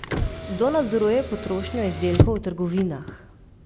Kdo nadzoruje potrošnjo izdelkov v trgovinah?